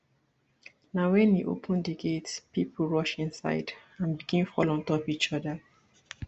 na wen e open di gate pipo rush inside and begin fall ontop each oda